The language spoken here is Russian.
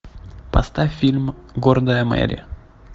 поставь фильм гордая мэри